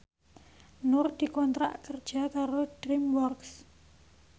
Nur dikontrak kerja karo DreamWorks